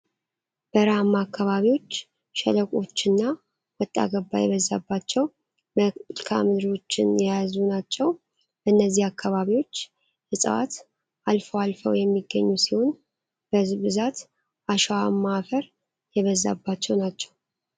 በረሀማ አካባቢዎች ሸለቆዎችን እና ወጣ ገባ የበዛባቸው መልካ ምድሮችን የያዙ ናቸው። በእነዚ አካባቢዎች እፅዋት አልፈው አልፈው የሚገኙ ሲሆን በብዛት አሸዋማ አፈር የበዛባቸው ናቸው።